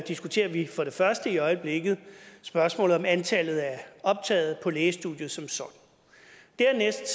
diskuterer vi for det første i øjeblikket spørgsmålet om antallet af optagede på lægestudiet som sådan dernæst